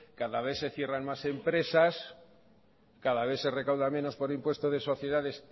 cada vez se cierran más empresas cada vez se recauda menos por impuesto de sociedades